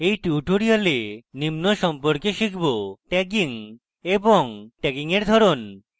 in tutorial আমরা নিম্ন সম্পর্কে শিখব